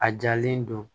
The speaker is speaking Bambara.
A jalen don